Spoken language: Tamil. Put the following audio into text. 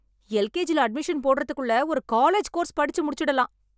எல் கே ஜி ல அட்மிஷன் போடறதுக்குள்ள ஒரு காலேஜ் கோர்ஸ் படிச்சு முடிச்சிடலாம்.